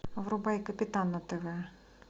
врубай капитан на тв